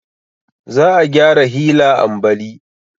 Za a gyara hila ambali